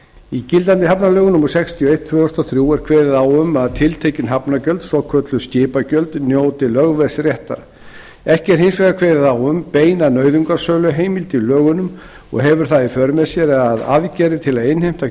í gildandi hafnalögum númer sextíu og eitt tvö þúsund og þrjú er kveðið á um að tiltekin hafnargjöld svokölluð skipagjöld njóti lögveðsréttar ekki er hins vegar kveðið á um beina nauðungarsöluheimild í lögunum og hefur það í för með sér að aðgerðir til að innheimta